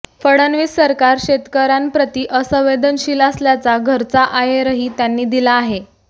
फडणवीस सरकार शेतकऱयांप्रति असंवेदनशील असल्याचा घरचा आहेरही त्यांनी दिला आहे